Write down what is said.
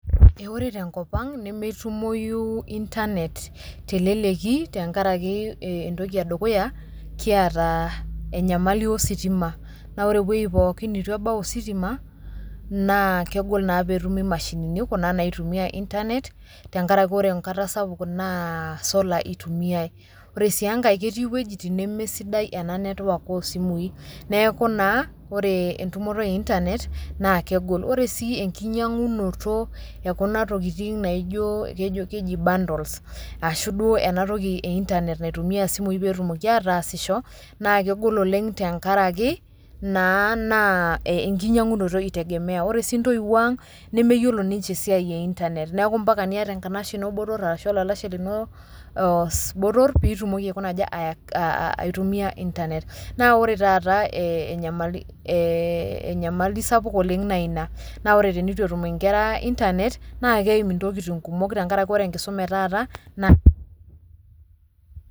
Ee ore tenkop ang' nemetumoyu intanet te leleki tenkaraki ee entoki e dukuya kiata enyamali ositima, naa ore ewuei pookin nitu ebau ositima naa kegol naa pee etumi mashinini kuna naitumia intanet, tenkaraki kore enkata sapuk naa solar itumiai. Ore sii enkae keti iwuejitin neme sidai ena network o simui, neeku naa ore entumoto e intanet naa kegol. Ore sii enkinyang'unoto e kuna tokitin naijo kejo keji bundle ashu duo enatoki e intanet naitumiai isimui pee etumoki ataasisho naa kegol oleng' tenkaraki naa naa enkinyang'unoto itegemea, ore sii ntoiwuo aang' nemeyiolo ninje esiai e entanet. Neeku mpaka niata enkanashe ino botor arashu olalashe lino botor piitumoki aikuna aja aa aitumia intanet, naa ore taata ee enyamali ee e enyamali sapuk oleng' na ina na ore tenitu etum inkera intanet naake eim intokitin kumok tenkaraki ore enkisoma a e taata naa..